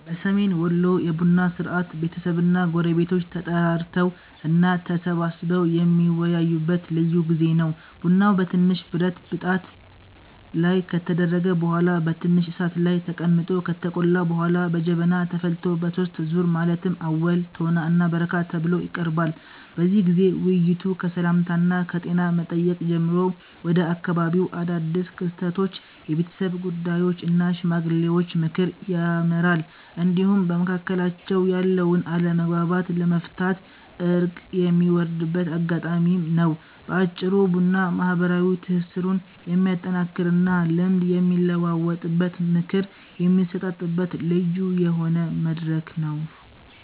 በሰሜን ወሎ የቡና ሥርዓት ቤተሰብና ጎረቤቶች ተጠራርተው እና ተሰባስበው የሚወያዩበት ልዩ ጊዜ ነው። ቡናው በትንሽ ብረት ብጣት ላይ ከተደረገ በኋላ በትንሽ እሳት ላይ ተቀምጦ ከተቆላ በኋላ በጀበና ተፈልቶ በሦስት ዙር ማለትም አወል፣ ቶና እና በረካ ተብሎ ይቀርባል። በዚህ ጊዜ ውይይቱ ከሰላምታና ከጤና መጠየቅ ጀምሮ ወደ አካባቢው አዳድስ ክስተቶች፣ የቤተሰብ ጉዳዮች እና የሽማግሌዎች ምክር ያመራል፤ እንዲሁም በመካከላቸው ያለውን አለመግባባት ለመፍታት እርቅ የሚወርድበት አጋጣሚም ነው። በአጭሩ ቡና ማህበራዊ ትስስሩን የሚያጠናክርና ልምድ የሚለዋወጥበት፣ ምክር የሚሰጣጥበት ልዩ የሆነ መድረክ ነው።